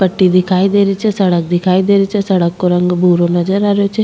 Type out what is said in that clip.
पट्टी दिखाई दे री छे सड़क दिखाई दे री छे सड़क को रंग भरो नजर आ रेहो छे।